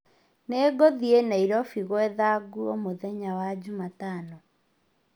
Nĩgũthĩĩ Nairobi gwetha nguo mũthenya wa Jumatano